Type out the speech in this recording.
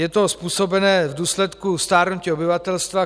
Je to způsobeno v důsledku stárnutí obyvatelstva.